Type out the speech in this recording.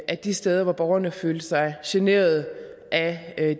at de steder hvor borgerne følte sig generet af